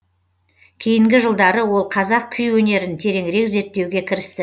кейінгі жылдары ол қазақ күй өнерін тереңірек зерттеуге кірісті